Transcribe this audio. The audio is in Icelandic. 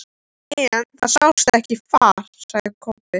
En það sást ekkert far, sagði Kobbi.